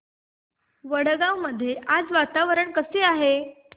वडगाव मध्ये आज वातावरण कसे आहे